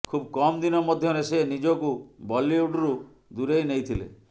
ଖୁବ୍ କମ ଦିନ ମଧ୍ୟରେ ସେ ନିଜକୁ ବଲିଉଡ୍ରୁ ଦୂରେଇ ନେଇଥିଲେ